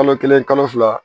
Kalo kelen kalo fila